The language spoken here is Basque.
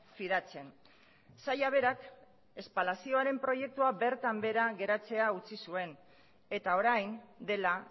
fidatzen saila berak espalazioaren proiektua bertan behera geratzea utzi zuen eta orain dela